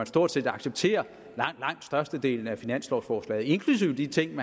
stort set accepterer størstedelen af finanslovforslaget inklusive de ting